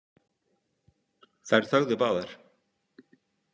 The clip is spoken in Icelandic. Þær þögðu báðar.